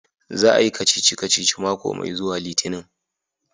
Za a Yi kacici-kaci mako mai zuwa litinin.